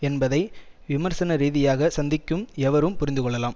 என்பதை விமர்சனரீதியாக சந்திக்கும் எவரும் புரிந்துகொள்ளலாம்